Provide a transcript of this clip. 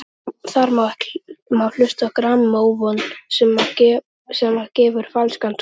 Þar má hlusta á grammófón sem að gefur falskan tón.